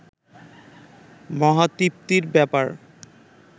মহা তৃপ্তির ব্যাপার